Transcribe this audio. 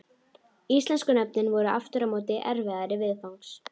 Íslensku nöfnin voru aftur á móti erfiðari viðfangs.